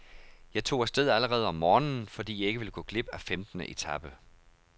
Jeg tog afsted allerede om morgenen, fordi jeg ikke ville gå glip af femtende etape.